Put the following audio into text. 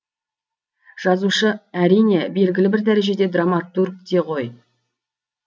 жазушы әрине белгілі бір дәрежеде драматург те ғой